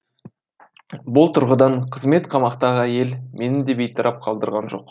бұл тұрғыдан қызмет қамақтағы әйел мені де бейтарап қалдырған жоқ